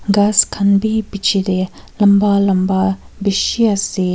ghas khan bi pichetey lamba lamba bishi ase.